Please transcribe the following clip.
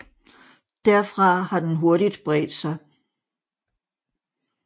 Derfra har den hurtigt bredt sig